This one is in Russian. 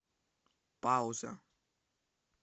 пауза